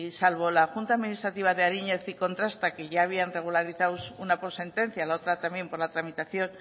salvo la junta administrativa de ariñez y contrasta que ya habían regularizado una con sentencia y la otra también por la tramitación